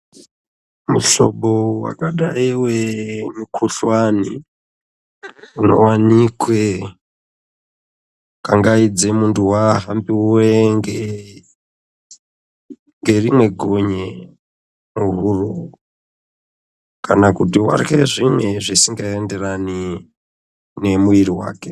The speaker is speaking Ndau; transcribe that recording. Muhlobo wakadayi wemukhuhlani unowanikwe kangaidzei muntu wahambiwe ngerimwe gonye muhuro kana kuti warye zvimwe zvisingaenderani nemiri wake.